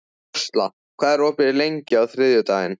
Ásla, hvað er opið lengi á þriðjudaginn?